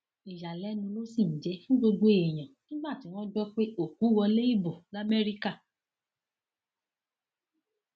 ìyàlẹnu ló sì ń jẹ fún gbogbo èèyàn nígbà tí wọn gbọ pé òkú wọlé ibo lamẹríkà